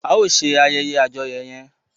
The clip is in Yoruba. A o ṣe ayeye àjọyọ yẹn!